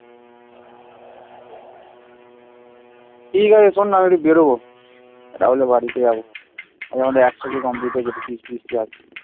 ঠিক আছে শোন না আমি একটু বেরবো রাহুলের বাড়িতে যাবো আজকে আমার একশো কে complete হয়েছে একটু ফিস্টি মিষ্টি আছে